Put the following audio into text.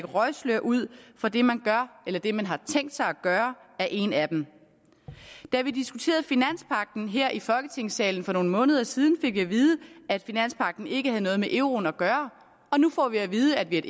røgslør ud for det man gør eller det man har tænkt sig at gøre er en af dem da vi diskuterede finanspagten her i folketingssalen for nogle måneder siden fik vi at vide at finanspagten ikke havde noget med euroen at gøre og nu får vi at vide at vi er